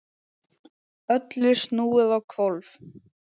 Öllu snúið á hvolf.